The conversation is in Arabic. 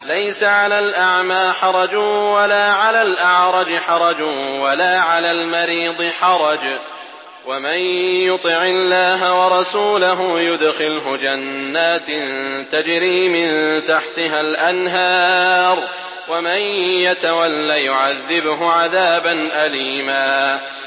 لَّيْسَ عَلَى الْأَعْمَىٰ حَرَجٌ وَلَا عَلَى الْأَعْرَجِ حَرَجٌ وَلَا عَلَى الْمَرِيضِ حَرَجٌ ۗ وَمَن يُطِعِ اللَّهَ وَرَسُولَهُ يُدْخِلْهُ جَنَّاتٍ تَجْرِي مِن تَحْتِهَا الْأَنْهَارُ ۖ وَمَن يَتَوَلَّ يُعَذِّبْهُ عَذَابًا أَلِيمًا